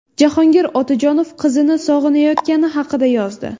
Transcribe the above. Jahongir Otajonov qizini sog‘inayotgani haqida yozdi.